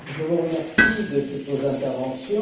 Je vous remercie de toutes vos interventions.